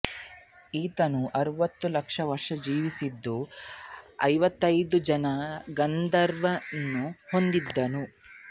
ಈತನು ಅರವತ್ತು ಲಕ್ಷ ವರ್ಷ ಜೀವಿಸಿದ್ದು ಐವತ್ತೈದು ಜನ ಗಣಧರರನ್ನು ಹೊಂದಿದ್ದನು